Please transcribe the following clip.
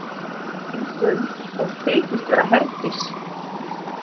Geng um og þykist vera Herdís.